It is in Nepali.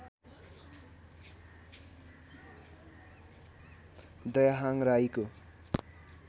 दयाहाङ राईको